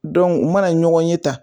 u mana ɲɔgɔn ye tan